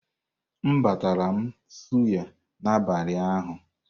M batara m suyà n'abalị ụnyaahụ.